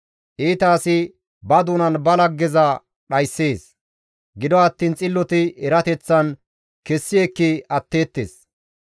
Iita asi ba doonan ba laggeza dhayssees; gido attiin xilloti erateththan kessi ekki atteettes.